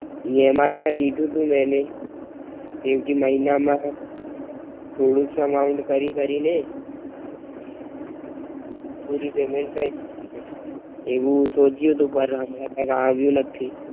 E M I માં લીધુતું ને એને જેમ કે મહિના માં થોડુંક amount કરી કરી ને પૂરું Payment કરી દેવું છે, એવું સોચ્યું તું પાર હમણાં કય આવયું નથી.